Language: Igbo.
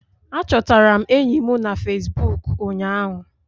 A chọtara m enyi m na Fesbụụk ụnyaahu